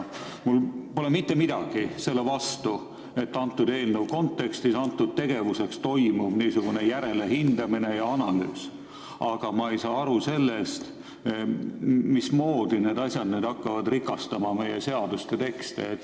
Mul ei ole midagi selle vastu, et tänase eelnõu kontekstis toimub niisugune järelhindamine ja analüüs, aga ma ei saa aru, mismoodi selline asi rikastab meie seaduste tekste.